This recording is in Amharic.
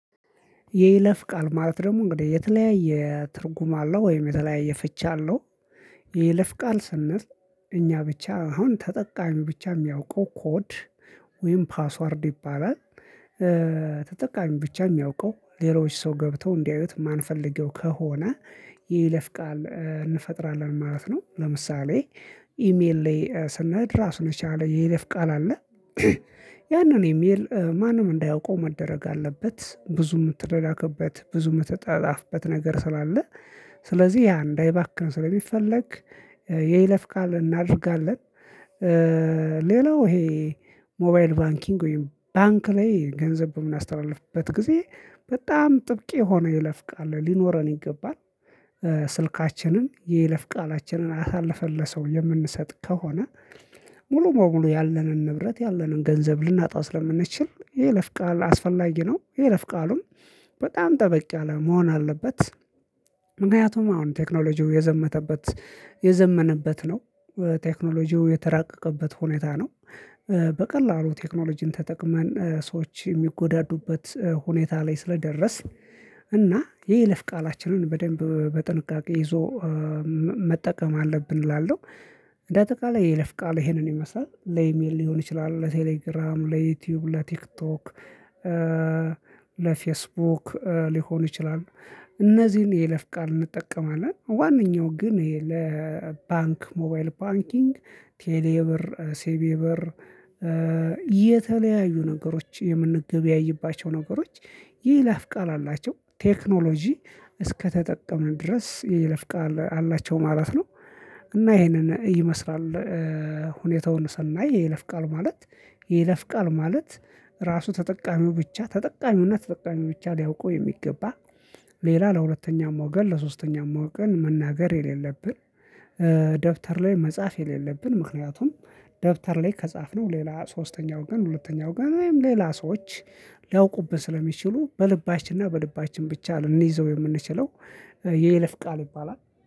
የይለፍ ቃል ማለት ደግሞ እንግዲህ የተለያየ ትርጉም አለው ወይም የተለያየ ፍች አለው። የይለፍ ቃል ስንል እኛ ብቻ አሁን ተጠቃሚ ብቻ የሚያውቀው ኮድ ወይም ፓስወርድ ይባላል። ተጠቃሚው ብቻ የሚያውቀው ሌሎች ሰው ገብተው እንዲያዩት ማንፈልገው ከሆነ የይለፍ ቃል እንፈጥራለን ማለት ነው። ለምሳሌ ኢሜል ላይ ስንሄድ ራሱን የቻለ የይለፍ ቃል አለ። ያንን ኢሜል ማንም እንዳያውቀው መደረግ አለበት ብዙ የምትላላክበት ብዙ የምትጣላፍበት ነገር ስላለ ስለዚህ ያ እንዳይባክን ስለሚፈለግ የይለፍ ቃል እናደርጋለን። ሌላው ይሄ ሞባይል ባንኪንግ ወይም ባንክ ላይ ገንዘብ በምናስተላልፍበት ጊዜ በጣም ጥብቅ የሆነ የይለፍቃል ሊኖረን ይገባል። ስልካችንን የይለፍ ቃላችንን አሳልፈን ለሰው የምንሰጥ ከሆነ ሙሉ በሙሉ ያለንን ንብረት ያለንን ገንዘብ ልናጣ ስለምንችል የይለፍቃል አስፈላጊ ነው። ይሄ ለፍቃሉም በጣም ጠበቅ ያለ መሆን አለበት። ምክንያቱም አሁን ቴክኖሎጂው የዘመነበት ነው ቴክኖሎጂው የተራቀቀበት ሁኔታ ነው። በቀላሉ ቴክኖሎጂን ተጠቅመን ሰዎች የሚጎዳዱበት ሁኔታ ላይ ስለደረስን እና የይልፍ ቃላችንን በደንብ በጥንቃቄ ይዞ መጠቀም አለብን እላለሁ። እንደ አጠቃላይ የይለፍቃል ይሄንን የመስራት ለኢሜል ሊሆን ይችላል ለቴሌግራም ለዩቲዩብ ለቲክቶክ ለፌስቡክ ሊሆን ይችላል። እነዚህን የይለፍ ቃል እንጠቀማለን ዋናው ግን ይሄ ለባንክ ሞባይል ባንኪንግ ቴሌብር ሲቢኢብር የተለያዩ ነገሮች የምንገበያይባቸው ነገሮች የይለፍ ቃል አላቸው። ቴክኖሎጂ እስከተጠቀምን ድረስ የይለፍ ቃል አላቸው ማለት ነው። እና ይሄንን ይመስላል ሁኔታውን ሰናይ የይለፍ ቃል ማለት የይለፍ ቃል ማለት ራሱ ተጠቃሚው ብቻ ተጠቃሚውና ተጠቃሚው ብቻ ሊያውቀው የሚገባ። ሌላ ለሁለተኛው ሞገር ለሶስተኛው ሞገር መናገር የሌለብን። ደብተር ላይ መጻፍ የሌለብን ምክንያቱም ደብተር ላይ ከጻፍነው ሌላ ሶስተኛው ገን ሁለተኛው ገን ወይም ሌላ ሰዎች ሊያውቁብን ስለሚችሉ በልባችንና በልባችን ብቻ ልንይዘው የምንችለው የይለፍ ቃል ይባላል